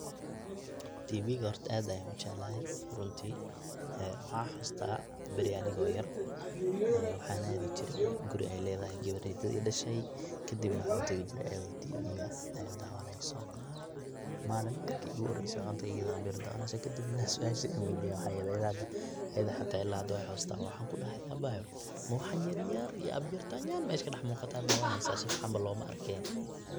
Tiviga horta ad ayan ujeclahay runti, waxan xasusta beri aniga yar aya waxan adi jire guri ey ledahay gabar ey edadey dashay kadib waxan utagi jiray ayado tiviga dawaneyso malin marki iguhorey waxan utagey iyadho ambir dawaneyso kadib nah suasha an weydiye wexey ehed ila hada wey xasusata, waxan kudahay abayo waxan yaryar iyo ambirtan mesha kadaxmuqata dawaneysa.